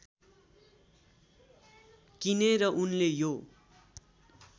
किनेर उनले यो